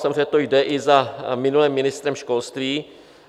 Samozřejmě to jde i za minulým ministrem školství.